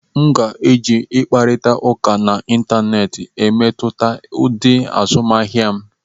M ga-eji ịkparịta ụka n'Ịntanet na-emetụta ụdị azụmahịa m.